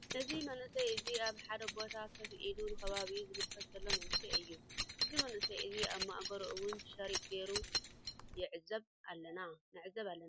እዚ መንእሰይ እዚ ኣብ ሓደ ቦታ ኮፍ ኢሉ ንከባቢኡ ዝምልከት ዘሎ መንእሰይ እዩ። እዚ መንእሰይ እዚ ኣብ ማእገሩ እውን ሕርጥ ጌሩ ንዕዘብ ኣለና።